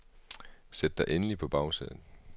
Sæt dig endelig på bagsædet.